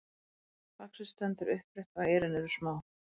faxið stendur upprétt og eyrun eru smá